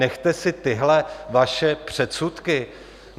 Nechte si tyhle vaše předsudky.